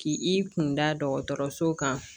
K'i i kunda dɔgɔtɔrɔso kan